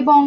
এবং